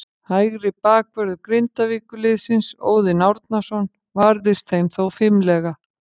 Hægri bakvörður Grindavíkurliðsins, Óðinn Árnason, varðist þeim þó fimlega.